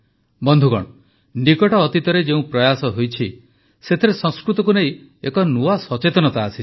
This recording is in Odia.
ବନ୍ଧୁଗଣ ନିକଟ ଅତୀତରେ ଯେଉଁ ପ୍ର୍ରୟାସ ହୋଇଛି ସେଥିରେ ସଂସ୍କୃତକୁ ନେଇ ଏକ ନୂଆ ସଚେତନତା ଆସିଛି